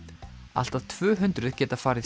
allt að tvö hundruð geta farið